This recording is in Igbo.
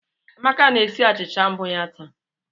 Amaka na-esi achịcha mbụ ya taa